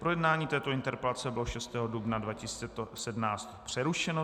Projednání této interpelace bylo 6. dubna 2017 přerušeno.